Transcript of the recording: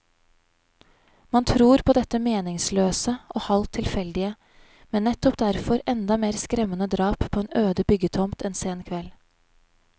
Man tror på dette meningsløse og halvt tilfeldige, men nettopp derfor enda mer skremmende drap på en øde byggetomt en sen kveld.